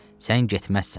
Sən getməzsən.